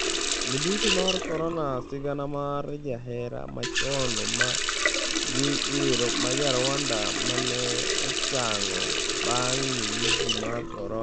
Midhusi mar Korona: Sigana mar jahera machon ma ja Rwanda mane ochango bang' midhusi mar korona